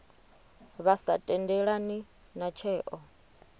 vha sa tendelani na tsheo